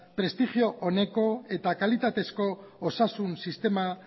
prestigio oneko eta kalitatezko osasun sistema